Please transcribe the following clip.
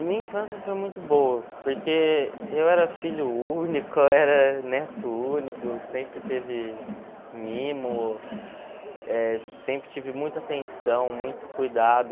A minha infância foi muito boa, porque eu era filho único, eu era neto único, sempre teve mimo, eh sempre tive muita atenção, muito cuidado.